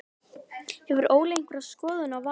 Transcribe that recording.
Hefur Óli einhverja skoðun á valinu?